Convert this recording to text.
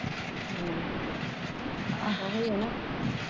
ਉਹੀਂ ਐ ਨਾ